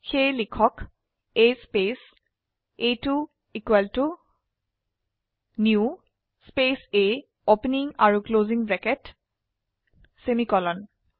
সেয়ে লিখক A space a2new space A opening আৰু ক্লোসিং ব্ৰেকেট সেমিকোলন